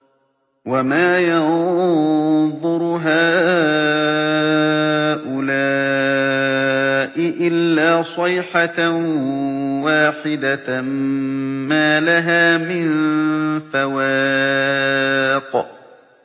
وَمَا يَنظُرُ هَٰؤُلَاءِ إِلَّا صَيْحَةً وَاحِدَةً مَّا لَهَا مِن فَوَاقٍ